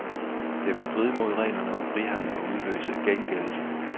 Det vil stride mod reglerne om frihandel og udløse gengældelse.